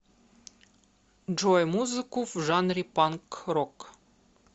джой музыку в жанре панк рок